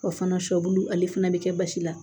O fana sɔbulu ale fana bɛ kɛ basi la